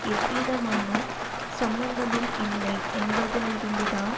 எந்தவிதமான சம்மந்தமும் இல்லை என்பதிலிருந்து தான்